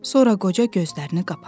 Sonra qoca gözlərini qapadı.